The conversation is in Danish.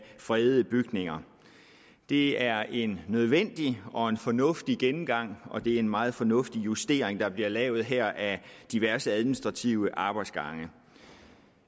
fredede bygninger det er en nødvendig og fornuftig gennemgang og det er en meget fornuftig justering der bliver lavet her af diverse administrative arbejdsgange